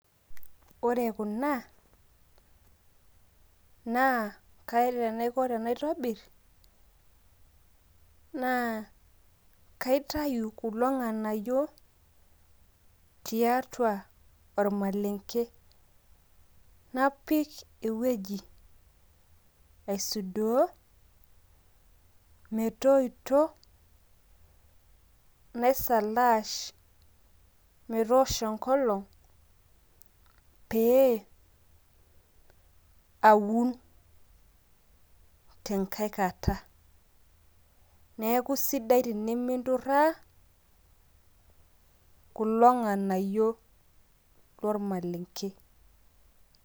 Ore kuna, naa kaata enaiko tenaitobir, naa kaitayu kulo ng'anayio tiatua olmalenke. Napik ewueji neshumieki, aisudoo, metoito, naisalaash metoosho enkolong pee, aun tenkae kata. Neeku aisidai teniminturraa kulo ng'anayio lormalenke.